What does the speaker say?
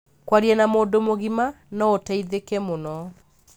Kwaria na mũndũ mũgima no ũteithikĩ mũno.